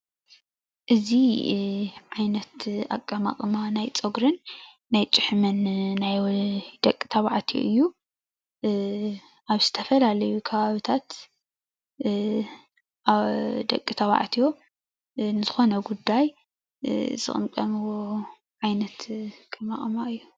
እዚ ዓይነት እቀማቕማ ናይ ፀጉርን ናይ ጭሕምን ናይ ደቂ ተባዕትዮ እዩ። ኣብ ዝተፈላለዩ ከባብታት ደቂ ትባዕትዮ ንዝኾነ ጉዳይ ዝቕምቀምዎ ኣቀማቕማ እዩ።